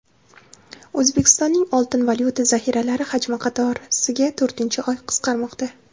O‘zbekistonning oltin-valyuta zaxiralari hajmi qatorasiga to‘rtinchi oy qisqarmoqda.